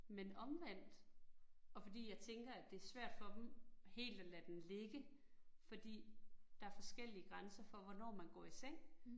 Men omvendt, og fordi jeg tænker, at det svært for dem helt at lade den ligge fordi der forskellige grænser for, hvornår man går i seng